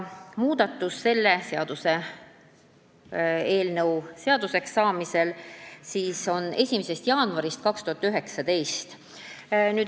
Kui see seaduseelnõu seaduseks saab, siis muudatus jõustub 1. jaanuaril 2019.